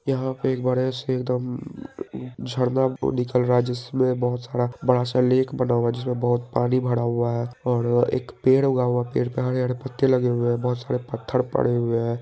यहां पे एक बड़े से एकदम झरना निकल रहा है जिसमे बहुत सारा बड़ा से लेक बना हुआ है जिसमे बहुत पानी भरा हुआ है और एक पेड़ उगा हुआ है पेड़ पर हरे-हरे पत्ते लगे हुए है बहुत सारे पत्थर पड़े हुए है।